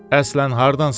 Əslən hardansan?